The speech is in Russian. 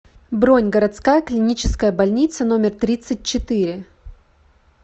бронь городская клиническая больница номер тридцать четыре